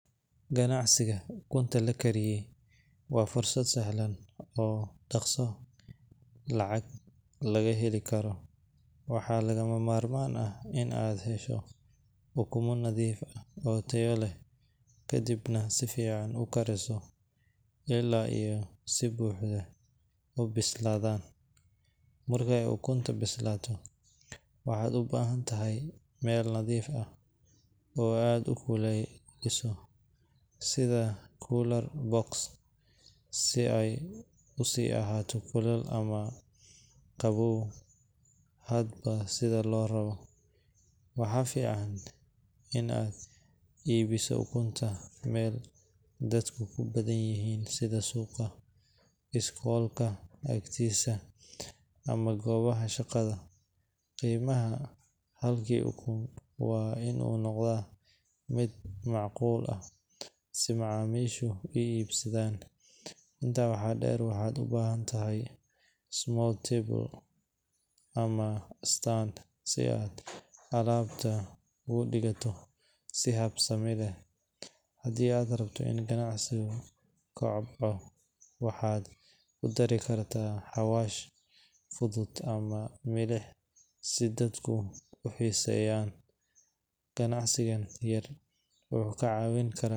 Ganacsiga ukunta la kariyey waa fursad sahlan oo dhaqso lacag looga heli karo. Waxaa lagama maarmaan ah in aad hesho ukumo nadiif ah oo tayo leh, kadibna si fiican u kariso ilaa ay si buuxda u bislaadaan. Marka ay ukunta bislaato, waxaad u baahan tahay weel nadiif ah oo aad ku ilaaliso, sida cooler box si ay u sii ahaato kulul ama qabow hadba sida loo rabo. Waxaa fiican in aad iibiso ukunta meel dadku ku badan yahay sida suuqa, iskoolka agtiisa, ama goobaha shaqada. Qiimaha halkii ukun ah waa in uu noqdaa mid macquul ah si macaamiishu u iibsadaan. Intaa waxaa dheer, waxaad u baahantahay small table ama stand si aad alaabta ugu dhigto si habsami leh. Haddii aad rabto in ganacsigaagu kobco, waxaad ku dari kartaa xawaash fudud ama milix si dadku u xiiseeyaan. Ganacsigan yar wuxuu kaa caawin karaa.